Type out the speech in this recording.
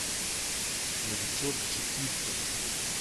новичок четырка